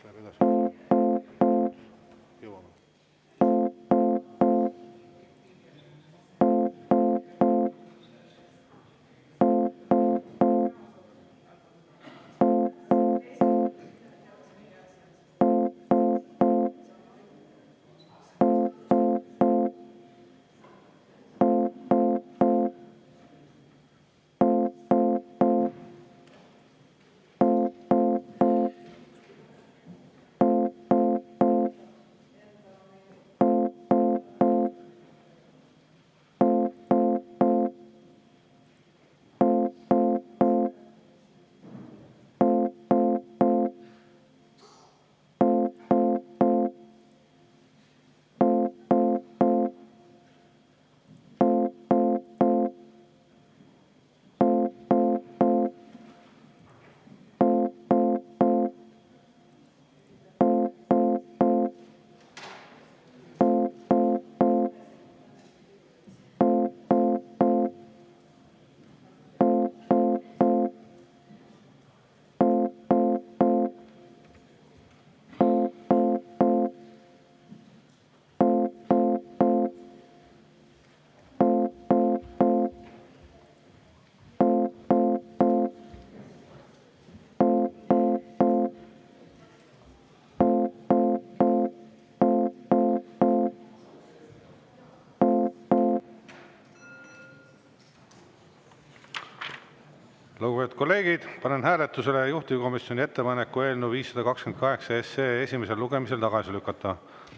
Lugupeetud kolleegid, panen hääletusele juhtivkomisjoni ettepaneku eelnõu 528 esimesel lugemisel tagasi lükata.